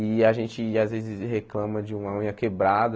E a gente às vezes reclama de uma unha quebrada,